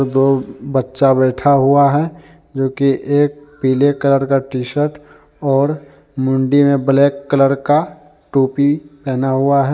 दो बच्चा बैठा हुआ है जो कि एक पीले कलर का टी शर्ट और मुंडी में ब्लैक कलर का टोपी पहना हुआ है।